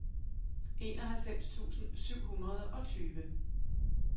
enoghalvfems tusind syv hundrede og tyve